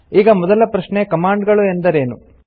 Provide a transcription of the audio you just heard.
ಈಗ ಮೊದಲ ಪ್ರಶ್ನೆ ಕಮಾಂಡ್ ಗಳು ಎಂದರೇನು